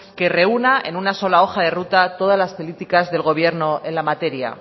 que reúna en una sola hoja de ruta todas las políticas del gobierno en la materia